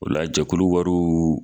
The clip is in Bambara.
O la jakulu wariw